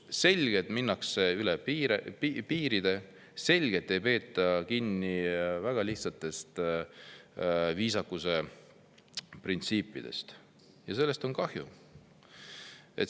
Selgelt minnakse üle piiri, selgelt ei peeta kinni väga lihtsatest viisakuse printsiipidest ja sellest on kahju.